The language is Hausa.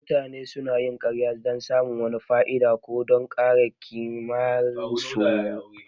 Mutane sunayin ƙarya don samun wata fa'ida, ko don kare ƙimarsu.